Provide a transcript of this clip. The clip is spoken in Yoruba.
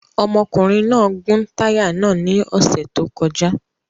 Ọmọkùnrin náà gún táyà náà ní ọ̀sẹ̀ tó kọjá